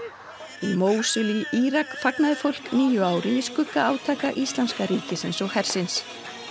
í Mósúl í Írak fagnaði fólk nýju ári í skugga átaka íslamska ríkisins og hersins